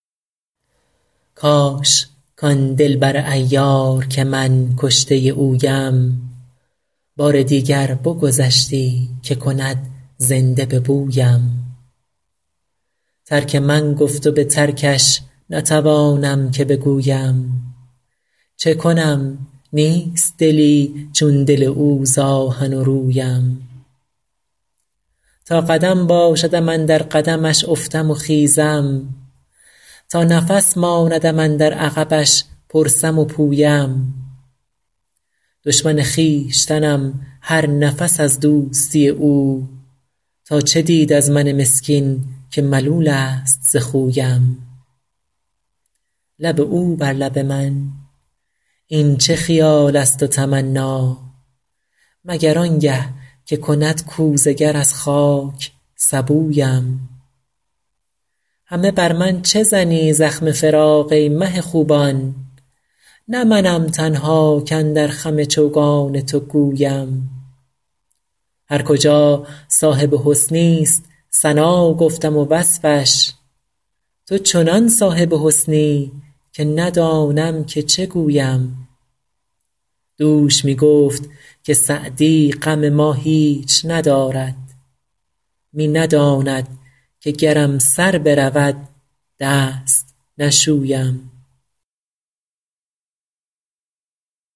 کاش کان دل بر عیار که من کشته اویم بار دیگر بگذشتی که کند زنده به بویم ترک من گفت و به ترکش نتوانم که بگویم چه کنم نیست دلی چون دل او ز آهن و رویم تا قدم باشدم اندر قدمش افتم و خیزم تا نفس ماندم اندر عقبش پرسم و پویم دشمن خویشتنم هر نفس از دوستی او تا چه دید از من مسکین که ملول است ز خویم لب او بر لب من این چه خیال است و تمنا مگر آن گه که کند کوزه گر از خاک سبویم همه بر من چه زنی زخم فراق ای مه خوبان نه منم تنها کاندر خم چوگان تو گویم هر کجا صاحب حسنی ست ثنا گفتم و وصفش تو چنان صاحب حسنی که ندانم که چه گویم دوش می گفت که سعدی غم ما هیچ ندارد می نداند که گرم سر برود دست نشویم